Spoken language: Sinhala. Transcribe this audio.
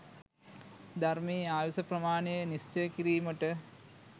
ධර්මයේ ආයුෂ ප්‍රමාණය නිශ්චය කිරීමට